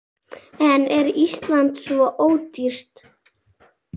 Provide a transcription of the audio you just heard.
En er Ísland svo ódýrt?